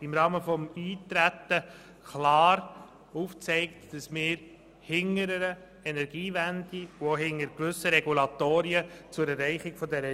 im Rahmen des Eintretens klar aufgezeigt, dass sie hinter der Energiewende und auch hinter gewissen Regulatoren zu deren Erreichung steht.